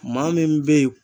Maa min be yen